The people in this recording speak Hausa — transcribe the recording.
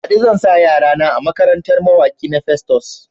Baɗi zan sa yara na a makarantar mawaki na Festus.